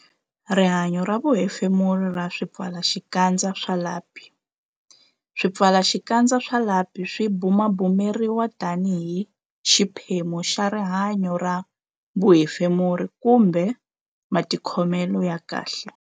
Rihanyo ra vuhefemuri ra swipfalaxikandza swa lapi Swipfalaxikandza swa lapi swi bumabumeriwa tanihi xiphemu xa rihanyo ra vuhefemuri kumbe matikhomelo ya kahle.